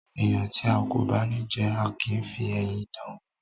Ẹran tía kò bá ní jẹ, a kìí fi eyín dáan wò.